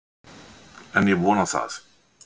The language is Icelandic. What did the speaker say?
En ég vona það.